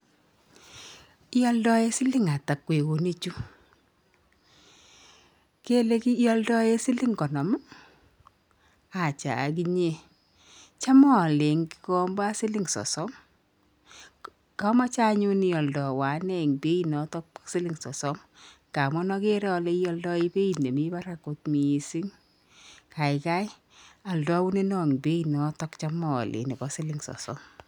Ialdae siling ata kweuinik chu, kele ialdae siling konom achaaginye cham aale eng gikomba siling sosom kamache anyun ialdawa ane bei notok siling sosom kamun agere ale ialdae beit nemi barak kot miising, gaigai aldauneno eng beit notok cham aale nebo siling sosom